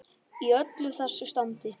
Í öllu þessu standi.